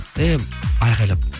эй айқайлап